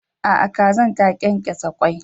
A'a, kazan kenkesa kwai.